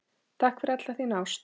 Takk fyrir alla þína ást.